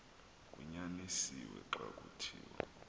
kunyanisiwe xa kuthiwa